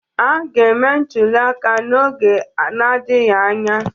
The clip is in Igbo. A ga-eme ntụliaka n'oge n'adịghị anya.